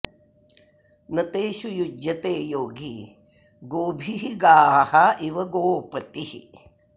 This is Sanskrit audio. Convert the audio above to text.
न तेषु युज्यते योगी गोभिः गाः इव गोपतिः